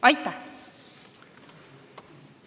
Aitäh!